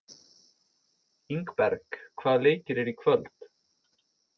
Ingberg, hvaða leikir eru í kvöld?